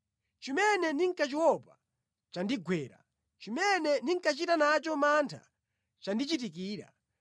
Chimene ndinkachiopa chandigwera; chimene ndinkachita nacho mantha chandichitikira.